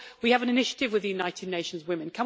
We have an initiative with United Nations Women.